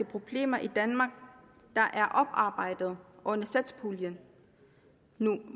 problemer i danmark der er oparbejdet under satspuljen